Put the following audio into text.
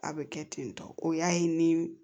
A bɛ kɛ ten tɔ o y'a ye ni